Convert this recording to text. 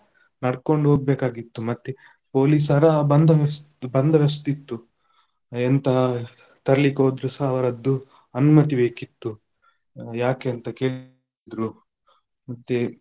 ನಡ್ಕೊಂಡು ಹೋಗ್ಬೇಕಾಗಿತ್ತು ಮತ್ತೆ ಪೊಲೀಸರ ಬಂದ~ ಬಂದೋಬಸ್ತಿತ್ತು, ಎಂತಾ ತರ್ಲಿಕೊದ್ರುಸ ಅವರದ್ದು ಅನುಮತಿ ಬೇಕಿತ್ತು, ಯಾಕೆ ಅಂತ ದ್ರು ಮತ್ತೆ.